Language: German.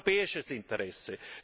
Das ist europäisches Interesse.